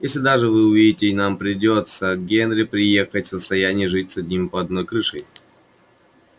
если даже вы уедете и нам придётся генри приехать состоянии жить с одним под одной крышей